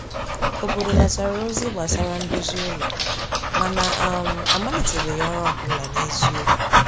Obodo natara ozi gbasara ndozi ụlọ, mana um a malitebeghị ọrụ ọ bụla n’eziokwu.